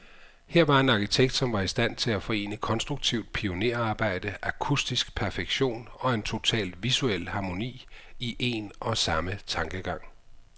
Her var en arkitekt, som var i stand til at forene konstruktivt pionerarbejde, akustisk perfektion, og en total visuel harmoni, i en og samme tankegang.